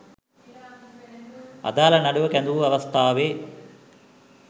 අදාළ නඩුව කැඳවූ අවස්ථාවේ